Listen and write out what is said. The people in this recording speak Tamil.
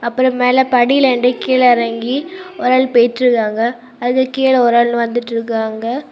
அப்புறொ மேல படியிலென்டி கீழ எறங்கி ஒரு ஆள் போயிட்டு இருக்காங்க அதுக்கு கீழ ஒரு ஆள் வந்துட்டு இருக்காங்க.